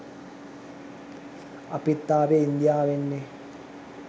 අපිත් ආවේ ඉන්දියාවෙන් නේ